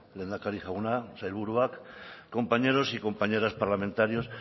lehendakari jauna sailburuak compañeros y compañeras parlamentarios